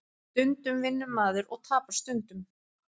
Stundum vinnur maður og tapar stundum